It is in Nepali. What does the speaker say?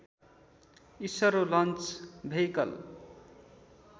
ISRO launch vehicle